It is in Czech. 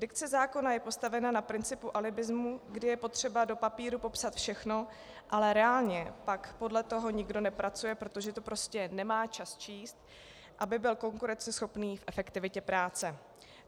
Dikce zákona je postavena na principu alibismu, kdy je potřeba do papíru popsat všechno, ale reálně pak podle toho nikdo nepracuje, protože to prostě nemá čas číst, aby byl konkurenceschopný v efektivitě práce.